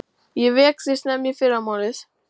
Ég vek þig snemma í fyrramálið.